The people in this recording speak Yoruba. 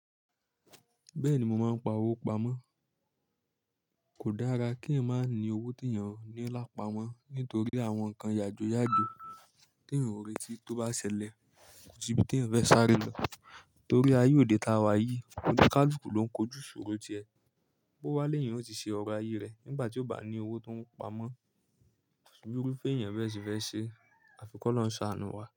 Bẹ́ẹ̀ni, mo máa ń pa owó pamọ́. Kò dára kí èyàn má ní owó tí èèyàn ò ní lápamọ nítorí àwọn nǹkan yàjóyàjó tí èèyàn ò retí tí ó bá ṣẹlẹ̀ kò síbi tí èèyàn fẹ́ sáré lọ. Torí ayé òde táa wa yìí, oníkálùkù ló ń kojú ìṣòro ti ẹ̀. Bóo wá lèyàn, ó sì ṣe ọrọ̀ ayé rẹ̀ nígbà tí ó bá ní owó tó ń pamọ́. Kòsí bí irúfẹ́ èèyàn bẹ́ẹ̀ ṣe fẹ́ ṣeé, àfi kọ́lọ́hún ṣàánú wa.